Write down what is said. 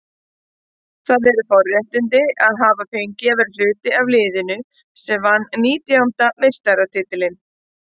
Það eru forréttindi að hafa fengið að vera hluti af liðinu sem vann nítjánda meistaratitilinn.